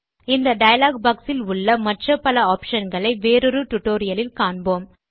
இந்த dialogue box இல் உள்ள மற்ற பல ஆப்ஷன் களை வேறொரு டியூட்டோரியல் இல் காண்போம்